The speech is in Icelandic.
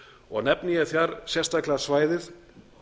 og nefni ég þar sérstaklega svæðið